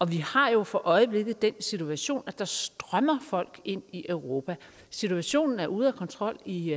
vi har jo for øjeblikket den situation at der strømmer folk ind i europa situationen er ude af kontrol i